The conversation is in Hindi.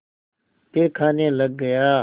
फिर खाने लग गया